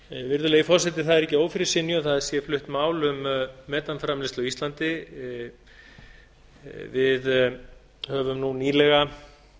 virðulegi forseti það er ekki að ófyrirsynju að það sé flutt mál um metanframleiðslu á íslandi við höfum nú nýlega